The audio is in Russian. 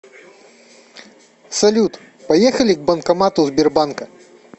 салют поехали к банкомату сбербанка